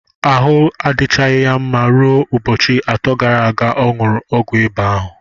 Ahụ ya adịchaghị mma ruo ụbọchị atọ gara aga ọ ṅụrụ ọgwụ ịba ahụ.